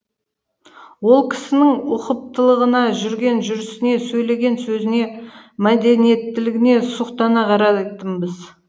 ол кісінің ұқыптылығына жүрген жүрісіне сөйлеген сөзіне мәдениеттілігіне сұқтана қарайтынбыз